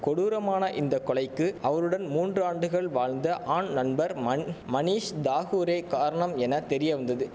கொடூரமான இந்த கொலைக்கு அவருடன் மூன்று ஆண்டுகள் வாழ்ந்த ஆண் நண்பர் மண் மணீஷ் தாகூரே காரணம் என தெரிய வந்தது